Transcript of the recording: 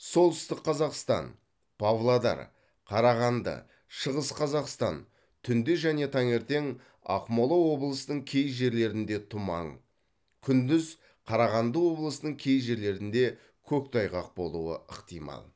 солтүстік қазақстан павлодар қарағанды шығыс қазақстан түнде және таңертең ақмола облысының кей жерлерінде тұман күндіз қарағанды облысының кей жерлерінде көктайғақ болуы ықтимал